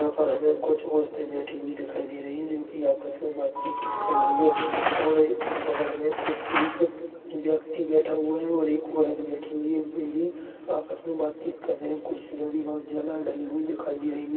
यहां पर हमें कुछ औरतें बैठे हुए दिखाई दे रही है जो कि आपस में बातचीत कर रही है और बगल में कुछ ही व्यक्ति बैठा हुआ एक औरत बैठी हुई है आपस में बातचीत कर रहे हैं कुर्सीयाँ भी बहुत ज्यादा डाली हुई दिखाई दे रही है।